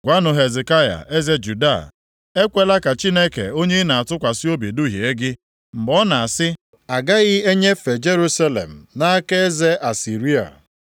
“Gwanụ Hezekaya, eze Juda: Ekwela ka Chineke onye ị na-atụkwasị obi duhie gị, mgbe ọ na-asị, ‘Agaghị enyefe Jerusalem nʼaka eze Asịrịa.’